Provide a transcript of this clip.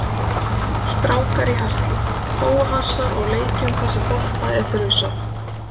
Strákar í harki, bófahasar og leikjum þar sem bolta er þrusað.